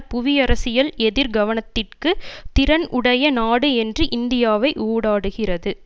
புவி அரசியில் எதிர் கனத்திற்கு திறன் உடைய நாடு என்று இந்தியாவை ஊடாடுகிறது